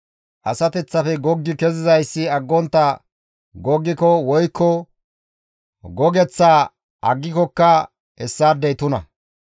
Asateththafe goggi kezizayssi aggontta ixxiko woykko gogeththaa aggikokka hessaadey tuna.